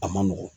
A man nɔgɔn